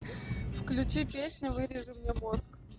включи песня вырежи мне мозг